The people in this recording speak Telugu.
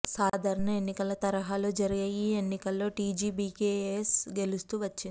సాధారణ ఎన్నికల తరహాలో జరిగే ఈ ఎన్నికల్లో టీజీబీకేఎస్ గెలుస్తూ వచ్చింది